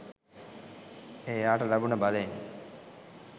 එය එයාට ලැබුණ බලයෙන්